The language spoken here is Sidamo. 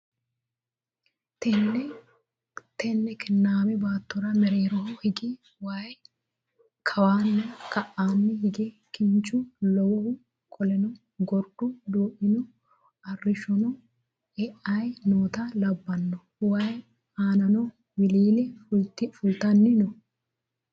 Tenne kinnaame baattora mereero hige wayi kawanna ka'aa hige kinchu lowohu qoleno gorduno duu'mino arrishshono e'ayi noota labbanno wayii aanino wiliile fultanni no